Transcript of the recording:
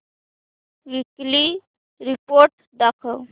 weekly report दाखव